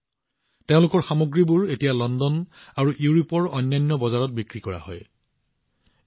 আজি তেওঁলোকৰ সামগ্ৰীবোৰ লণ্ডন আৰু ইউৰোপৰ অন্যান্য বজাৰত বিক্ৰী হৈ আছে